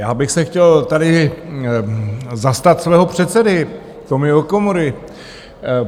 Já bych se chtěl tady zastat svého předsedy Tomio Okamury.